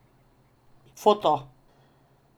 Foto.